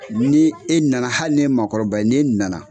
Ni e nana hali ni ye magokɔrɔba n'e nana